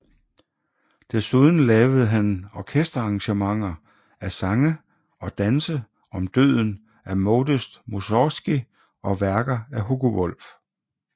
Desuden lavede han orkesterarrangementer af Sange og danse om døden af Modest Mussorgskij og værker af Hugo Wolf